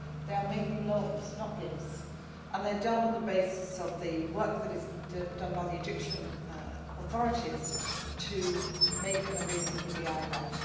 They are mainly loans, not gifts, and they are done on the basis of the work that is done by the Egyptian authorities to make an agreement with the IMF.